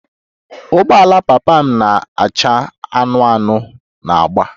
Ụgbọala papa m na-acha anụnụ anụnụ na agba